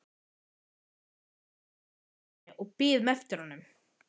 Við Þórhildur sátum í stofu og biðum eftir honum.